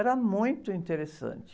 Era muito interessante.